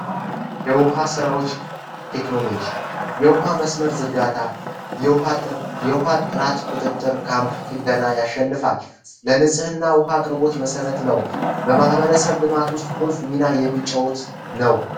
የውሃ ስራዎች ቴክኖሎጂ የውሃ መስመር ዘርጋታ የውሃ ጥራት ቁጥጥር ካምፕ ጥገና ያሸነፋል ለንጽህና ውሃ አቅርቦት መሰረት ነው በማህበረሰብ ልማት ዉስጥ ቁልፍ ሚና የሚጫወት ነው